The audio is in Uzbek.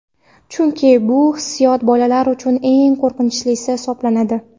Chunki bu hissiyot bolalar uchun eng qo‘rqinchlisi hisoblanadi.